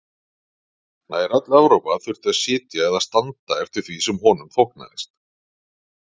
Nær öll Evrópa þurfti að sitja eða standa eftir því sem honum þóknaðist.